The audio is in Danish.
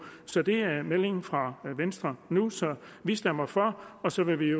så det er meldingen fra venstre nu vi stemmer for og så vil vi